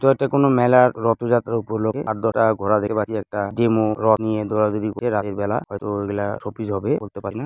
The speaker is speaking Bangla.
এটা একটি কোন মেলা রথযাত্রা উপলক্ষে আদ্ররা ঘোড়াদের বাড়ি একটা যেম নিয়ে দৌড়াদৌড়ি করে রাতের বেলা হয়তো ওগুলো শোপিস হবে বলতে পারি না ।